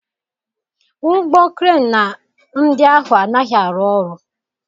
Ụgbọ Kren ndị ahụ anaghị arụ ọrụ.